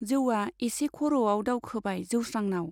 जौवा एसे खर' आव दावखोबाय जोस्रांनाव।